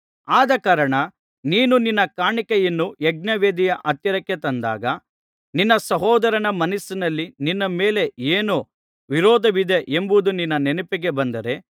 ಆದಕಾರಣ ನೀನು ನಿನ್ನ ಕಾಣಿಕೆಯನ್ನು ಯಜ್ಞವೇದಿಯ ಹತ್ತಿರಕ್ಕೆ ತಂದಾಗ ನಿನ್ನ ಸಹೋದರನ ಮನಸ್ಸಿನಲ್ಲಿ ನಿನ್ನ ಮೇಲೆ ಏನೋ ವಿರೋಧವಿದೆ ಎಂಬುದು ನಿನ್ನ ನೆನಪಿಗೆ ಬಂದರೆ